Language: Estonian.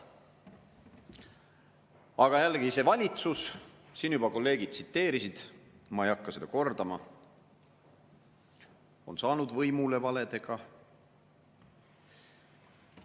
Aga jällegi, see valitsus – siin juba kolleegid tsiteerisid, ma ei hakka seda kõike kordama – on saanud võimule valedega.